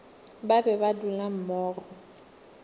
ba be ba dula mmogo